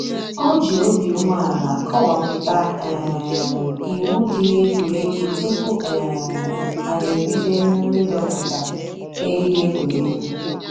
O ji obi ume ala kọwapụta um iwu dị n'egwuregwu tupu um anyị ebido emumu ịdọpụta eriri egwuregwu